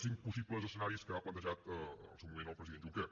cinc possibles escenaris que ha plantejat en el seu moment el president juncker